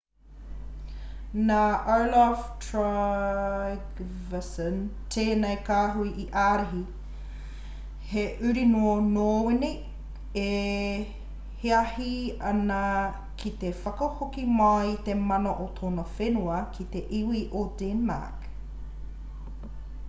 nā olaf trygvasson tēnei kāhui i ārahi he uri nō nōwini e hiahi ana ki te whakahoki mai i te mana o tōna whenua i te iwi o denmark